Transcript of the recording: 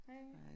Hej